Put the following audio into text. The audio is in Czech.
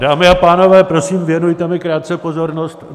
Dámy a pánové, prosím, věnujte mi krátce pozornost.